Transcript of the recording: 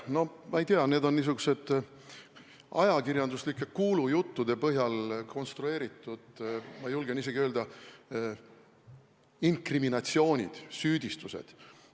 No ma ei tea, need on niisugused ajakirjanduslike kuulujuttude põhjal konstrueeritud, ma julgen isegi öelda, inkrimineeringud, süüdistused.